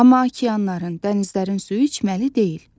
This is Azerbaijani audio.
Amma okeanların, dənizlərin suyu içməli deyil.